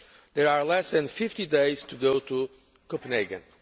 There are less than 50 days to go to Copenhagen.